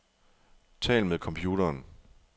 Tal med computeren.